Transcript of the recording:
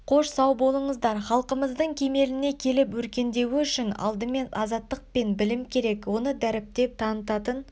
қош сау болыңыздар халқымыздың кемеліне келіп өркендеуі үшін алдымен азаттық пен білім керек оны дәріптеп танытатын